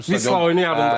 Vistal oyunu yadımda.